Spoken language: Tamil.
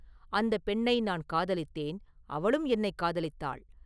அந்தப் பெண்ணை நான் காதலித்தேன்; அவளும் என்னைக் காதலித்தாள்.